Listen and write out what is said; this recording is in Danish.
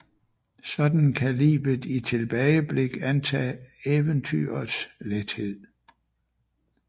Sådan kan livet i tilbageblik antage eventyrets lethed